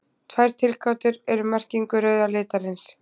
Tvær tilgátur eru um merkingu rauða litarins.